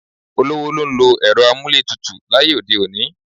Olówó ló ń lo ẹ̀rọ amúlétutù láyé òde òní.